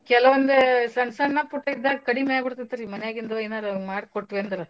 ಕೆಲವಂದು ಸಣ್ಣ್ ಸಣ್ಣ್ ಪುಟ್ ಇದ್ದಾಗ್ ಕಡಿಮಿ ಆಗಿ ಬಿಡ್ತೇತ್ರಿ ಮನ್ಯಾಗಿಂದು ಎನಾರ ಮಾಡ್ಕೊಟ್ವ್ಯಂದ್ರ.